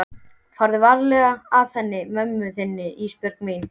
Farðu varlega að henni mömmu þinni Ísbjörg mín.